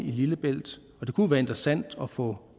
lillebælt kunne være interessant at få